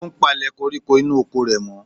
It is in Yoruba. Ó ń palẹ̀ koríko inú oko rẹ̀ mọ́.